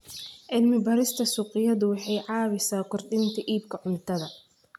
Cilmi-baarista suuqyadu waxay caawisaa kordhinta iibka cuntada.